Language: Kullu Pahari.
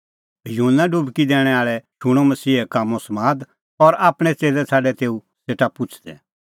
युहन्ना डुबकी दैणैं आल़ै शूणअ मसीहे कामों समाद और आपणैं च़ेल्लै छ़ाडै तेऊ सेटा पुछ़दै